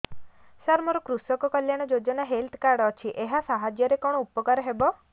ସାର ମୋର କୃଷକ କଲ୍ୟାଣ ଯୋଜନା ହେଲ୍ଥ କାର୍ଡ ଅଛି ଏହା ସାହାଯ୍ୟ ରେ କଣ ଉପକାର ହବ